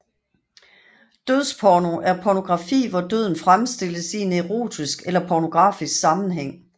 Dødsporno er pornografi hvor døden fremstilles i en erotisk eller pornografisk sammenhæng